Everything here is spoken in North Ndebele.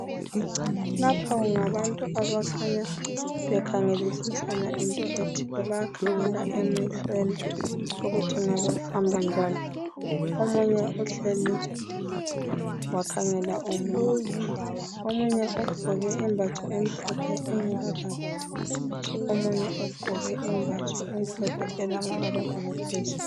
Lapha kungabantu abakhanya bekhangelisisana ngento ethile bayakhangela emehlweni ukuthi kungabe kuhamba njani omunye uhleli wakhangela omunye, omunye ugqoke imbatho emhlophe engela bala kuthi omunye ugqoke imbatho emhlophe elamabala bala phezulu.